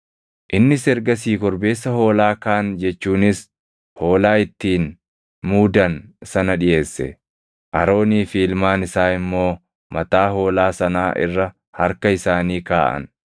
Innis ergasii korbeessa hoolaa kaan jechuunis hoolaa ittiin muudan sana dhiʼeesse; Aroonii fi ilmaan isaa immoo mataa hoolaa sanaa irra harka isaanii kaaʼan.